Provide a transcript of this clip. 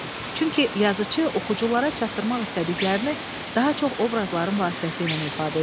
Çünki yazıçı oxuculara çatdırmaq istədiklərini daha çox obrazların vasitəsilə ifadə edir.